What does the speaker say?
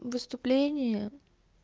выступление